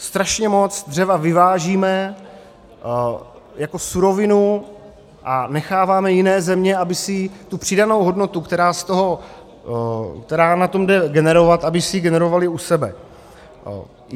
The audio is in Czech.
Strašně moc dřeva vyvážíme jako surovinu a necháváme jiné země, aby si tu přidanou hodnotu, kterou na tom jde generovat, aby si ji generovali u sebe.